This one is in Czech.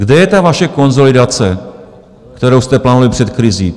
Kde je ta vaše konsolidace, kterou jste plánovali před krizí?